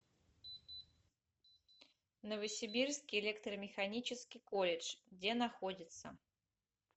новосибирский электромеханический колледж где находится